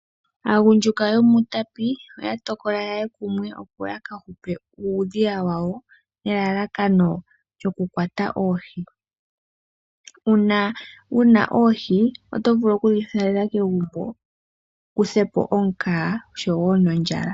Aagundjuka yo muUtapi oya tokola yeye kumwe opo yaka hupe uudhiya wawo nelalakano lyoku kwata oohi. Uuna wuna oohi oto vulu okudhi thalela kegumbo wukuthe po omukaga oshowo nondjala.